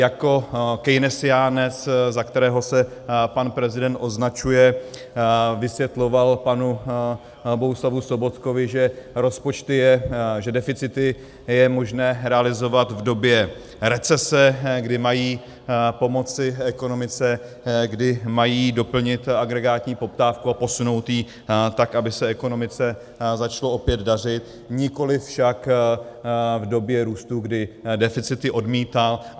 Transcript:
Jako keynesiánec, za kterého se pan prezident označuje, vysvětloval panu Bohuslavu Sobotkovi, že deficity je možné realizovat v době recese, kdy mají pomoci ekonomice, kdy mají doplnit agregátní poptávku a posunout ji tak, aby se ekonomice začalo opět dařit, nikoli však v době růstu, kdy deficity odmítá.